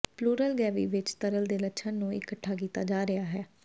plural cavity ਵਿੱਚ ਤਰਲ ਦੇ ਲੱਛਣ ਨੂੰ ਇਕੱਠਾ ਕੀਤਾ ਜਾ ਰਿਹਾ ਹੈ